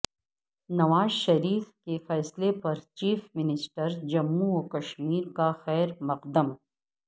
نواز شریف کے فیصلے پر چیف منسٹر جموں و کشمیر کا خیر مقدم